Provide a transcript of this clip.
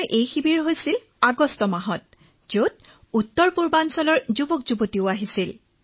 এই শিবিৰ আগষ্ট মাহত অনুষ্ঠিত হৈছিল যত উত্তৰ পূৰ্বাঞ্চলৰ পৰাও বহু অংশগ্ৰহণকাৰী আহিছিলে